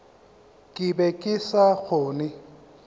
ke be ke sa kgone